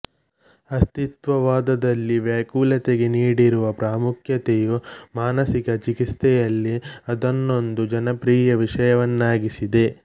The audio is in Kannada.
ಅಸ್ತಿತ್ವವಾದದಲ್ಲಿ ವ್ಯಾಕುಲತೆಗೆ ನೀಡಿರುವ ಪ್ರಾಮುಖ್ಯತೆಯು ಮಾನಸಿಕ ಚಿಕಿತ್ಸೆಯಲ್ಲಿ ಅದನ್ನೊಂದು ಜನಪ್ರಿಯ ವಿಷಯವನ್ನಾಗಿಸಿದೆ